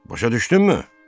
Başa düşdünmü?